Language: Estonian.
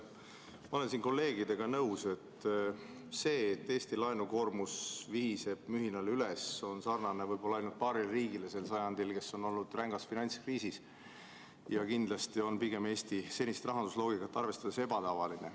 Ma olen kolleegidega nõus: see, et Eesti laenukoormus vihiseb mühinal üles, on sarnane võib-olla ainult paari riigi olukorraga sel sajandil, kes on olnud rängas finantskriisis, ja kindlasti on see Eesti senist rahandusloogikat arvestades pigem ebatavaline.